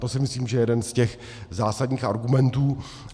To si myslím, že je jeden z těch zásadních argumentů.